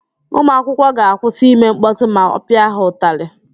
Ụmụakwụkwọ ga-akwụsị ime mkpọtụ ma ọ pịa ha ụtalị.